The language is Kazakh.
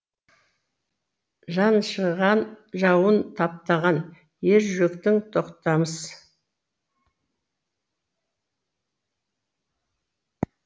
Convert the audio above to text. жаншыған жауын таптаған ержүректің тоқтамыс